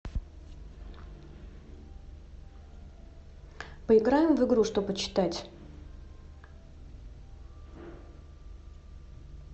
поиграем в игру что почитать